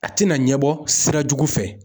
A tina ɲɛbɔ sira jugu fɛ